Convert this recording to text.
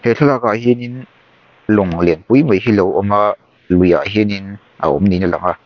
he thlalak ah hianin lawng lianpui mai hi a lo awm a luiah hianin a awm niin a lang a.